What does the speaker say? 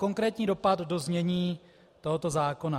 Konkrétní dopad do znění tohoto zákona: